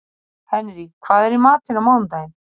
Henrý, hvað er í matinn á mánudaginn?